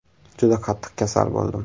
Juda qattiq kasal bo‘ldim.